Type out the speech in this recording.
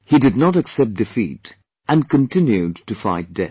He did not accept defeat and continued to fight death